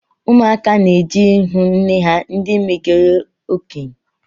Ụmụaka na-eje ihụ nne ha ndi megoro okenye